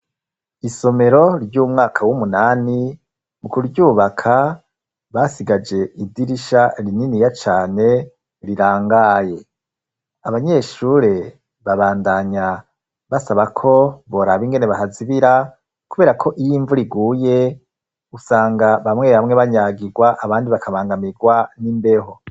Isomero ry'umwaka w'umunani mu kuryubaka basigaje idirisha rininiya cane rirangaye abanyeshure babandanya basaba ko boraba ingene bahazibira kubera ko iyo imvura iguye usanga bamwe bamwe banyagirwa abandi bakabangamirwa n'imbeho.